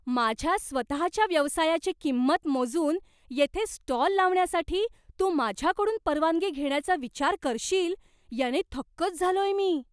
माझ्या स्वतःच्या व्यवसायाची किंमत मोजून येथे स्टॉल लावण्यासाठी तू माझ्याकडून परवानगी घेण्याचा विचार करशील याने थक्कच झालोय मी.